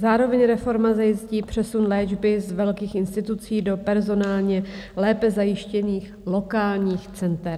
Zároveň reforma zajistí přesun léčby z velkých institucí do personálně lépe zajištěných lokálních center.